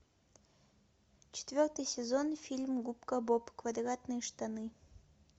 четвертый сезон фильм губка боб квадратные штаны